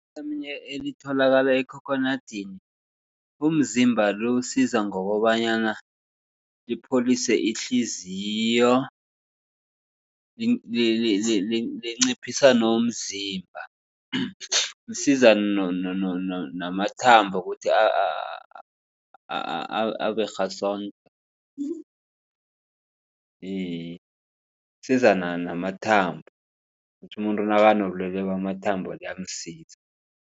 Ivithamini elitholakala ekhokhonadini umzimba lo uwusiza ngokobanyana lipholise ihliziyo, linciphisa nomzimba . Lisiza namathambo ukuthi aberhasondo. Iye lisiza namathambo ukuthi umuntu nakanobulwele bamathambo liyamsiza.